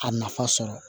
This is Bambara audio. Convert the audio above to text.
A nafa sɔrɔ